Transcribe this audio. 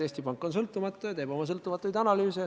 Eesti Pank on sõltumatu ja teeb oma sõltumatuid analüüse.